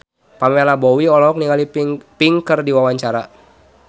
Pamela Bowie olohok ningali Pink keur diwawancara